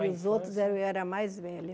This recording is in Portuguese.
Dos outros eu era mais velha.